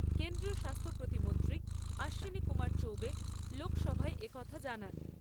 কেন্দ্রীয় স্বাস্থ্য প্রতিমন্ত্রী অশ্বিনী কুমার চৌবে লোকসভায় এ কথা জানান।